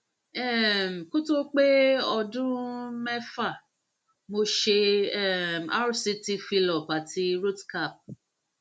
um kó tó pé ọdún um mẹfà mo ṣe um rct fillup ati rootcap